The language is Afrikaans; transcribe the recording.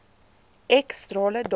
x strale datum